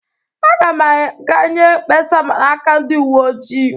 Aga m aga nye kpesa n'aka ndị uwe ojii.